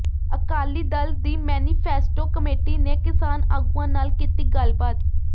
ਅਕਾਲੀ ਦਲ ਦੀ manifesto committee ਨੇ ਕਿਸਾਨ ਆਗੂਆਂ ਨਾਲ ਕੀਤੀ ਗੱਲਬਾਤ